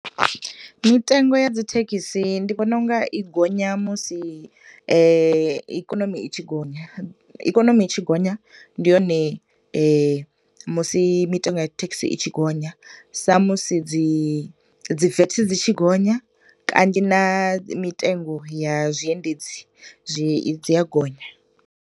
Mitengo ya dzithekhisi ndi vhona unga i gonya musi ikonomi i tshi gonya, ikonomi i tshi gonya ndi hone musi mitengo ya thekhisi i tshi gonya, sa musi dzi VAT dzi tshi gonya, kanzhi na mitengo ya zwiendezi zwi dzi a gonya.